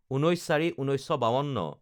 ১৯/০৪/১৯৫২